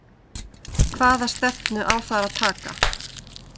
Hvaða stefnu á þar að taka?